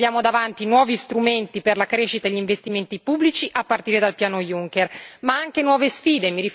Oggi abbiamo davanti nuovi strumenti per la crescita e gli investimenti pubblici, a partire dal piano Juncker, ma anche nuove sfide.